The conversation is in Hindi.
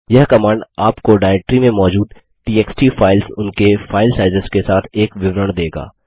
यह कमांड आपको डायरेक्ट्री में मौजूद टीएक्सटी फाइल्स उनके फाइल साइज़ेस के साथ एक विवरण देगा